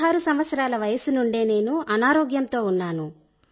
16 సంవత్సరాల వయస్సు నుండేనేను అనారోగ్యంతో ఉన్నాను